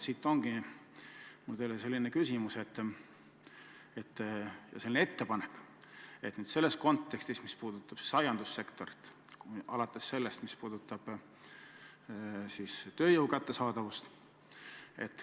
Siit ongi mul teile selline küsimus või selline ettepanek, mis puudutab aiandussektorit ja tööjõu kättesaadavust seal.